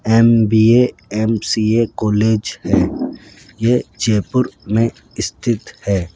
MBA MCA college है ये जयपुर में स्थित है।